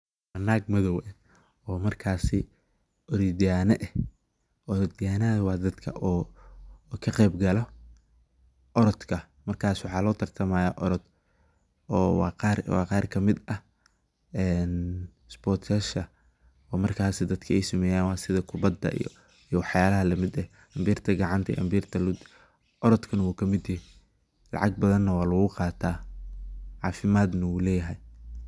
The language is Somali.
Naag mathaw oo markasi orotyahana aah , wa dadka ka Qeebkalah oratka markasa waxa lovtartahamaya orotkaa oo wa Qaar kamit aah een sportyasha oo markasi dadka ee dadka setha kubatgaa iyo wax yalahaa lamitkaa ambirta kacantaa orotka wuu kamiit tahay, eeh lacga bathan wa lagu Qatah, cafimadnah wuu leeyahay.